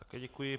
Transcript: Také děkuji.